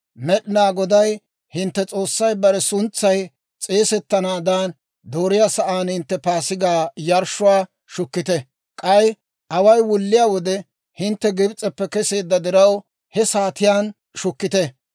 Med'inaa Goday hintte S'oossay bare suntsay s'eesettanaadan dooriyaa sa'aan hintte Paasigaa yarshshuwaa shukkite; k'ay away wulliyaa wode hintte Gibs'eppe keseedda diraw, he saatiyaan shukkite.